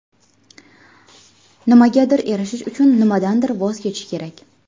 Nimagadir erishish uchun nimadandir voz kechish kerak.